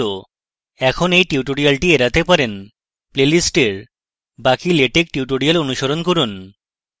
এখন you tutorial এড়াতে পারেন প্লেলিস্টের বাকি latex tutorial অনুশীলন করুন